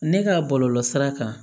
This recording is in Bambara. Ne ka bɔlɔlɔ sira kan